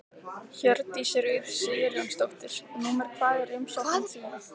Hjördís Rut Sigurjónsdóttir: Númer hvað er umsóknin þín?